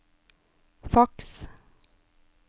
faks